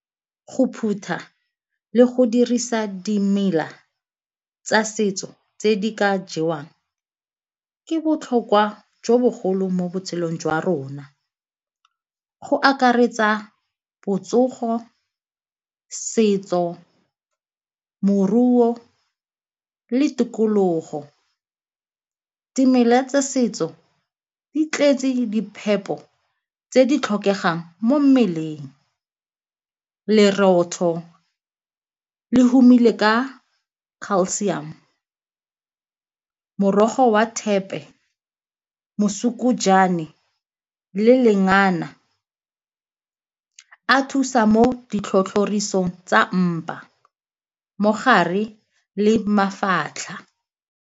Go phutha le go dirisa dimela tsa setso tse di ka jewang ke botlhokwa jo bogolo mo botshelong jwa rona, go akaretsa botsogo, setso, moruo le tikologo. Dimela tsa setso di tletse di phepo tse di tlhokegang mo mmeleng. Lerotho le humile ka calcium, morogo wa thepe mosukujane le lengana a thusa mo ditlhotlhomisong tsa mpa mo gare le mafatlha.